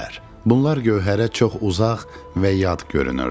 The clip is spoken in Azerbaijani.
Bunlar Gövhərə çox uzaq və yad görünürdü.